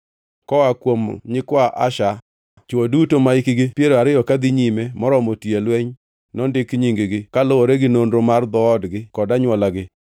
Koa kuom nyikwa Asher: Chwo duto mahikgi piero ariyo kadhi nyime moromo tiyo e lweny nondik nying-gi, kaluwore gi nonro mar dhoodgi kod anywolagi.